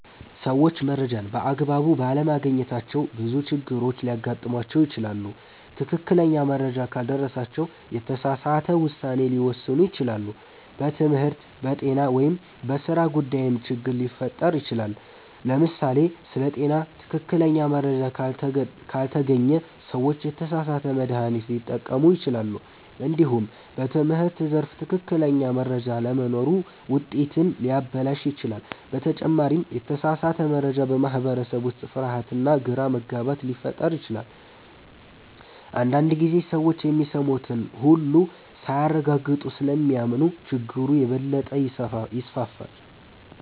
ሰዎች መረጃን በአግባቡ ባለማግኘታቸው ብዙ ችግሮች ሊያጋጥሟቸው ይችላሉ። ትክክለኛ መረጃ ካልደረሳቸው የተሳሳተ ውሳኔ ሊወስኑ ይችላሉ፣ በትምህርት፣ በጤና ወይም በሥራ ጉዳይም ችግር ሊፈጠር ይችላል። ለምሳሌ ስለ ጤና ትክክለኛ መረጃ ካልተገኘ ሰዎች የተሳሳተ መድሃኒት ሊጠቀሙ ይችላሉ። እንዲሁም በትምህርት ዘርፍ ትክክለኛ መረጃ አለመኖር ውጤትን ሊያበላሽ ይችላል። በተጨማሪም የተሳሳተ መረጃ በማህበረሰብ ውስጥ ፍርሃትና ግራ መጋባት ሊፈጥር ይችላል። አንዳንድ ጊዜ ሰዎች የሚሰሙትን ሁሉ ሳያረጋግጡ ስለሚያምኑ ችግሩ የበለጠ ይስፋፋል።